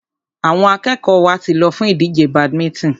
Àwọn akẹ́kọ̀ọ́ wa ti lọ fún ìdíje badminton.